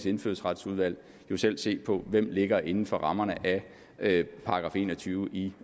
i indfødsretsudvalget jo selv se hvem der ligger inden for rammerne af § en og tyve i